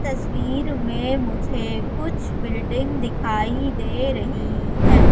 तस्वीर में मुझे कुछ बिल्डिंग दिखाई दे रही है।